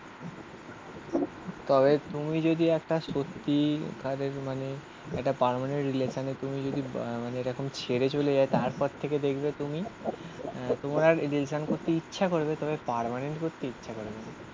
তবে তুমি যদি একটা সত্যি কাজের মানে একটা পার্মানেন্ট রিলেশানে তুমি যদি মানে এরকম ছেড়ে চলে যায় তারপর থেকে দেখবে তুমি. তোমার আর রিলেশান করতে ইচ্ছা করবে তবে পার্মানেন্ট করতে ইচ্ছা করবে না